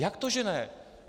Jak to že ne?